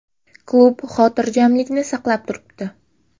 Klub xotirjamlikni saqlab turibdi.